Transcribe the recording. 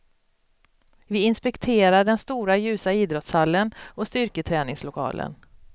Vi inspekterar den stora ljusa idrottshallen och styrketräningslokalen.